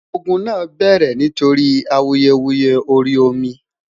ògún nà bẹrẹ nítorí awuyewuye orí omi